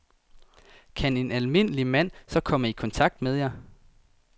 Kan en almindelig mand så komme i kontakt med jer?